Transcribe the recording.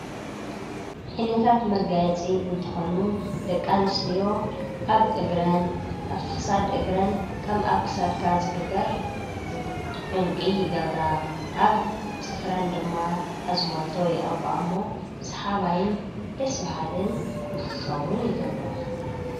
ዓይነታት መጋየፂ እንትኮኑ ደቂ ኣንስትዮ ኣብ ክሳድ እግረን ከም ኣብ ክሳድካ ዝግበር ዕንቂ ይገብራ፣ ከም ኣብ ክሳድ ዝግበር ኣብ ፅፍረን ድማ ኣዝማልቶ ይቅብኣ እሞ ሰሓባይን ደስ በሃልን ንክኸውን ይገብሮ፡፡